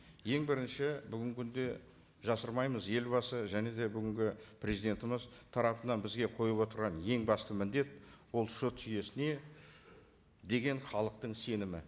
ең бірінші бүгінгі күнде жасырмаймыз елбасы және де бүгінгі президентіміз тарапынан бізге қойып отырған ең басты міндет ол сот жүйесіне деген халықтың сенімі